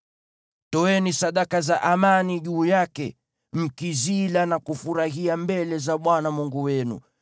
Toeni sadaka za amani juu yake, mkizila na kufurahia mbele za Bwana Mungu wenu.